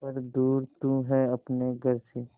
पर दूर तू है अपने घर से